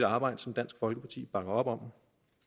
arbejde som dansk folkeparti bakker op om